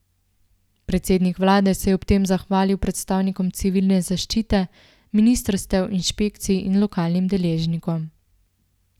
Predsednik vlade se je ob tem zahvalil predstavnikom civilne zaščite, ministrstev, inšpekcij in lokalnim deležnikom.